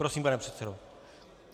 Prosím, pane předsedo.